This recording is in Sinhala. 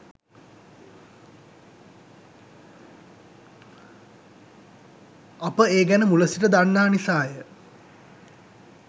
අප ඒ ගැන මුල සිට දන්නා නිසාය.